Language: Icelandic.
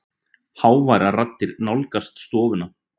Háværar raddir nálgast stofuna.